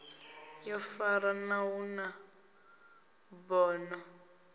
yo farana hu na bono